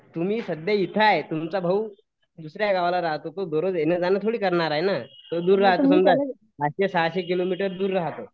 तुम्ही सध्या इथे आहे तुमचा भाऊ दुसऱ्या गावाला राहतो तो दररोज येणं जाणं थोडी करणार आहे नं तो दूर राहतो पाचशे सहाशे किलोमीटर दूर राहतो.